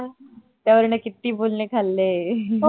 त्या वरण किती बोलणे खाल्ले